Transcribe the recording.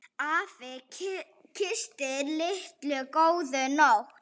Afi kyssti Lillu góða nótt.